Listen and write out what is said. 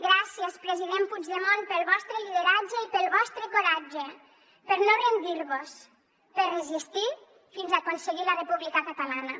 gràcies president puigdemont pel vostre lideratge i pel vostre coratge per no rendirvos per resistir fins a aconseguir la república catalana